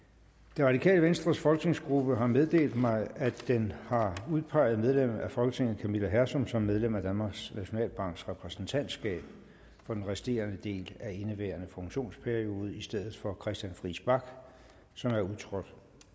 det radikale venstres folketingsgruppe har meddelt mig at den har udpeget medlem af folketinget camilla hersom som medlem af danmarks nationalbanks repræsentantskab for den resterende del af indeværende funktionsperiode i stedet for christian friis bach som er udtrådt